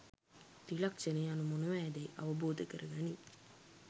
ත්‍රිලක්‍ෂණ යනු මොනවාදැයි අවබෝධ කරගනියි.